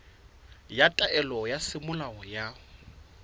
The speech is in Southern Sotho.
ya taelo ya semolao ya